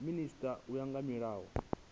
minisita u ya nga mulayo